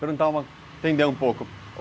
Perguntar, entender um pouco.